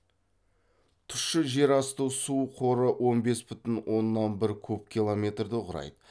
тұщы жер асты су қоры он бес бүтін оннан бір куб километрді құрайды